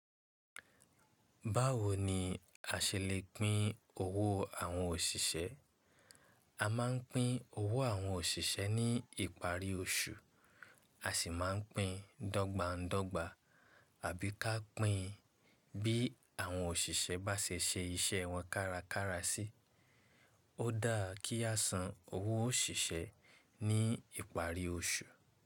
Báwo ni a ṣe lè pín owó àwọn òṣìṣẹ́? A máa ń pín owó àwọn òṣìṣẹ́ ní ìparí oṣù, a sì máa ń pín dọ́gbańdọ́gba àbí ká pín bí àwọn òṣìṣẹ́ bá ṣe ṣe iṣẹ́ wọn kárakára sí. Ó dáa kí a san owó òṣìṣẹ́ ní ìparí oṣù.